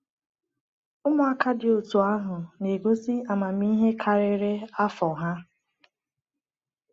Ụmụaka dị otú ahụ na-egosi amamihe karịrị afọ ha.